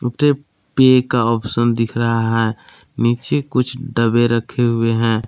पे का ऑप्शन दिख रहा है नीचे कुछ डबे रखे हुए हैं।